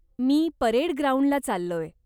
मी parade ग्राउंडला चाललोय.